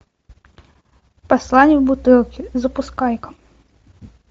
послание в бутылке запускай ка